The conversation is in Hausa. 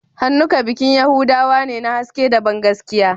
Hanukkah bikin Yahudawa ne na haske da bangaskiya